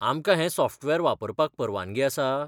आमकां हे सॉफ्टवेर वापरपाक परवानगी आसा?